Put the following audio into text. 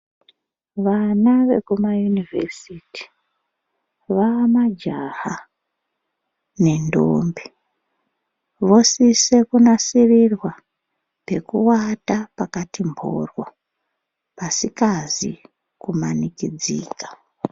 Vana vekumayunivhesiti vaa majaha nendombi, vosise kunasirirwa pekuwata pakati mboryo pasikazi kumanikidzika.